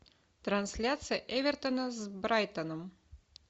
трансляция эвертона с брайтоном